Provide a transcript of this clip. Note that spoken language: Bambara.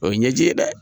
O ye ɲɛji ye dɛ